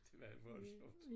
Det var voldsomt